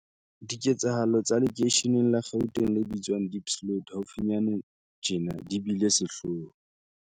Diketsahalo tsa lekeisheneng la Gauteng le bitswang Diepsloot haufinyane tjena di bile sehloho.